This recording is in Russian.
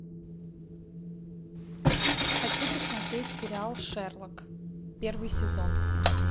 хочу посмотреть сериал шерлок первый сезон